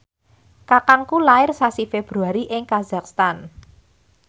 kakangku lair sasi Februari ing kazakhstan